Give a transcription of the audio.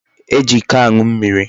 E ji Iko anu mmiri